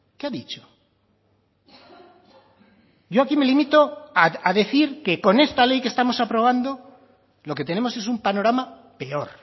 qué ha dicho yo aquí me limito a decir que con esta ley que estamos aprobando lo que tenemos es un panorama peor